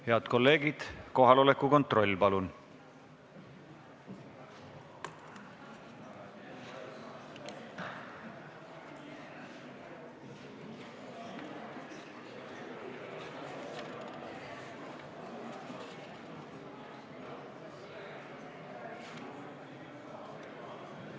Head kolleegid, kohaloleku kontroll, palun!